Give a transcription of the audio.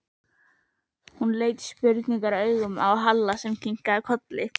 Hún leit spurnaraugum á Halla sem kinkaði kolli.